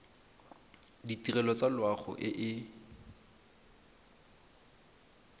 ditirelo tsa loago e e